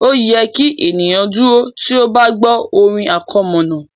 Ó yẹ kí ènìyàn dúró tí ó bá gbọ́ orin àkọmọ̀nà